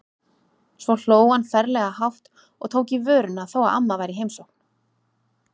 Svo hló hann ferlega hátt og tók í vörina þó að amma væri í heimsókn.